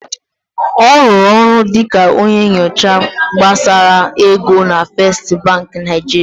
Ọ rụrụ ọrụ dịka onye nyocha gbasara ego na Fesstị Bankị Naịjirịa.